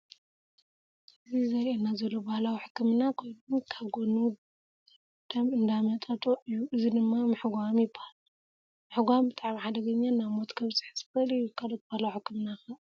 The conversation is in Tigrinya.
እዚ ዘሪኣና ዘሎ ባህላዊ ሕክምና ኮይኑ ካብ ጎኑ ደም እንዳመጠጦ እዩ እዚ ድማ ምሕጓም ይበሃል። ምሕጓም ብጣዕሚ ሓደገኛ ናብ ሞት ከብፅሕ ዝክእል እዩ። ካልኦት ባህላው ሕክምና ከ ኣለው ዶ ?